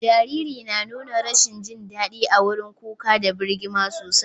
Jariri na nuna rashin jin dadi a wurin kuka da birgima sosai.